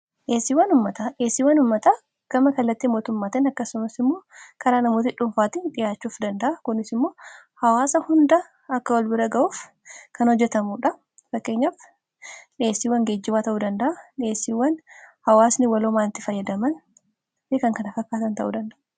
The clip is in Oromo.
Dhiyeesiwwan ummataa gama kallatti mootummatan akkasumas immoo karaa namooti dhuunfaatii dhihaachuuf danda'a kunis immoo hawaasa hunda akka wal bira ga'uuf kan hojjetamudha ,fakkeenyaf dhiyeesiiwwan geejjibaa ta'uu danda'a dhiyeesiiwwan hawaasni waloomaanitti fayyadaman fi kan kan fakkaatan ta'uu danda'a.